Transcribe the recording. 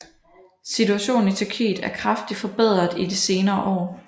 Situationen i Tyrkiet er kraftig forbedret i de senere år